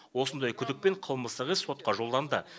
осындай күдікпен қылмыстық іс сотқа жолданды